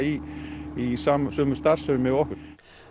í sömu sömu starfsemi og okkur